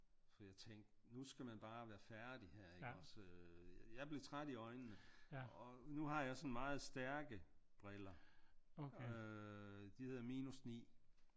For jeg tænkte nu skal man bare være færdig her ikke også øh jeg blev træt i øjnene og nu har jeg sådan meget stærke briller øh de hedder minus 9